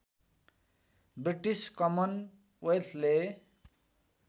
British common वेल्थले